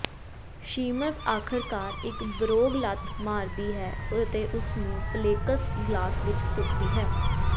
Sheamus ਆਖਰਕਾਰ ਇੱਕ ਬਰੋਗ ਲੱਤ ਮਾਰਦੀ ਹੈ ਅਤੇ ਉਸਨੂੰ ਪਲੇਕਸ ਗਲਾਸ ਵਿੱਚ ਸੁੱਟਦੀ ਹੈ